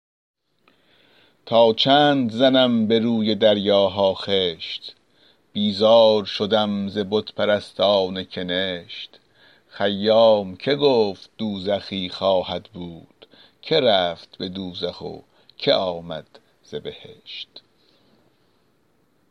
تا چند زنم به روی دریاها خشت بیزار شدم ز بت پرستان کنشت خیام که گفت دوزخی خواهد بود که رفت به دوزخ و که آمد ز بهشت